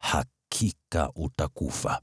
hakika utakufa.”